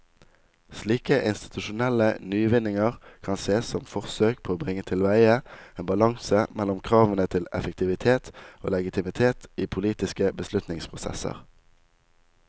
Slike institusjonelle nyvinninger kan sees som forsøk på å bringe tilveie en balanse mellom kravene til effektivitet og legitimitet i politiske beslutningsprosesser.